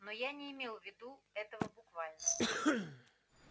но я не имел в виду этого буквально